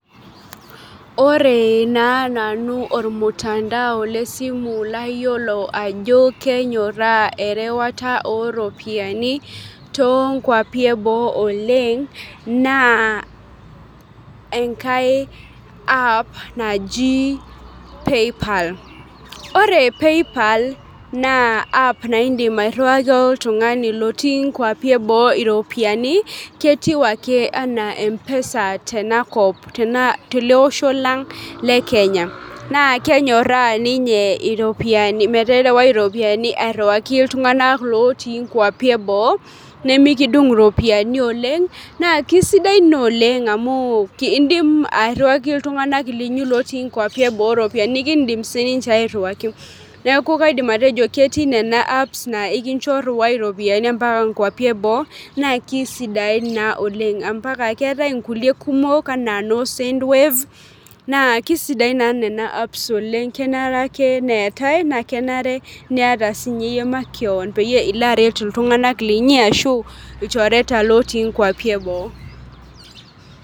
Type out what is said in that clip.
Ore naa nanu ormutandao lesimu layiolo ajo kenyorraa erewata oropiyaini tonkupi eboo oleng naa enkae app naji paypal ore paypal naa app naindim airriwaki oltung'ani lotii inkuapi eboo iropiani ketiu ake enaa mpesa tenakop tele osho lang le kenya naa kenyorra ninye meterewae iropiyiani airriwaki iltung'anak lotii inkuapi eboo nemekidung iropiyiani oleng naa kisidai naa oleng amu kiindim airriwaki iltung'anak linyi lotii inkuapi eboo iropiyiani nikindim sininche airriwaki niaku kaidim atejo ketii nena apps naa ikincho rriwai iropiyiani ampaka inkuapi eboo naa kisidain naa oleng ampaka keetae inkulie kumok ana noo sendwave naa kisidain naa nena apps oleng kenare ake neetae kenare niata sinye iyie makewon peyie ilo aret iltung'anak linyi ashu ilchoreta lotii inkuapi eboo.